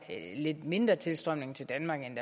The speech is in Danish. lidt mindre tilstrømning til danmark end